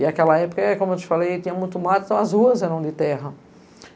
E naquela época, como eu te falei, tinha muito mato, então as ruas eram de terra.